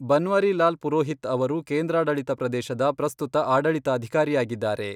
ಬನ್ವಾರಿಲಾಲ್ ಪುರೋಹಿತ್ ಅವರು ಕೇಂದ್ರಾಡಳಿತ ಪ್ರದೇಶದ ಪ್ರಸ್ತುತ ಆಡಳಿತಾಧಿಕಾರಿಯಾಗಿದ್ದಾರೆ.